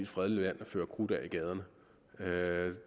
fredeligt land og fyre krudt af i gaderne